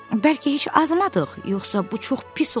Bəlkə heç azmadıq, yoxsa bu çox pis olardı.